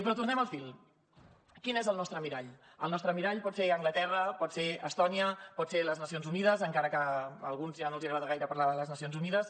però tornem al fil quin és el nostre mirall el nostre mirall pot ser anglaterra pot ser estònia poden ser les nacions unides encara que a alguns ja no els agrada gaire parlar de les nacions unides